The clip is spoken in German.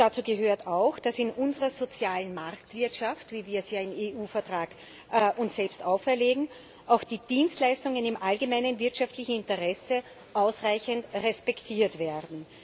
Dazu gehört auch, dass in unserer sozialen Marktwirtschaft wie wir es uns ja im EU Vertrag selbst auferlegen auch die Dienstleistungen im allgemeinen wirtschaftlichen Interesse ausreichend respektiert werden.